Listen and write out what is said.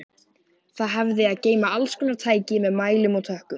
Það hafði að geyma allskonar tæki með mælum og tökkum.